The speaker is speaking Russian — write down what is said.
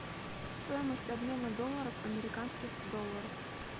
стоимость обмена долларов в американских долларах